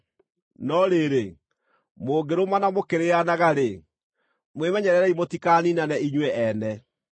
No rĩrĩ, mũngĩrũmana mũkĩrĩĩanaga-rĩ, mwĩmenyererei mũtikaniinane inyuĩ ene.